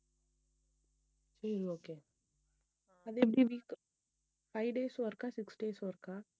உம் okay அது எப்படி weex five days work ஆ six days work ஆ